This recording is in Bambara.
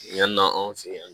Yann'an fɛ yan